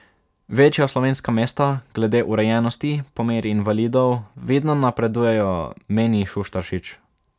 Večja slovenska mesta glede urejenosti po meri invalidov vidno napredujejo, meni Šuštaršič.